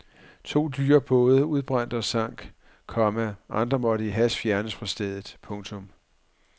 To dyre både udbrændte og sank, komma andre måtte i hast fjernes fra stedet. punktum